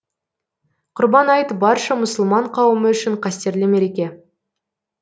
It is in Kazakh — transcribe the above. құрбан айт барша мұсылман қауымы үшін қастерлі мереке